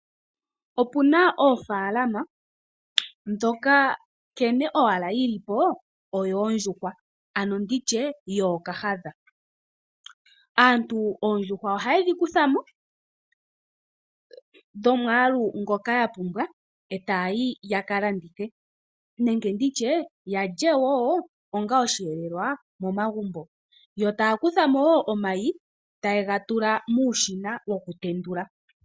Opuna oofaalama ndhoka nkene owala dhilipo odhoondjuhwa ano nditye yoo okoohadha. Aantu ohaa kuthamo oondjuhwa dhomwaalu ngoka yapumbwa etaya opo yaka landithe nenge yalye wo onga oshiyelelwa momagumbo. Yo taa kuthamo woo omayi etayega tula momashina gokutendula.